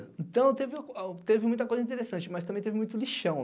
Então, teve teve muita coisa interessante, mas também teve muito lixão.